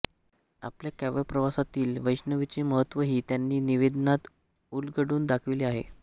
आपल्या काव्यप्रवासातील वैष्णवीचे महत्त्वही त्यांनी निवेदनात उलगडून दाखविले आहे